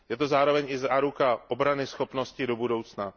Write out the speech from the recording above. Je to zároveň i záruka obranyschopnosti do budoucna.